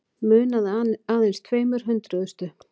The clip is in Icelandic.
Munaði aðeins tveimur hundruðustu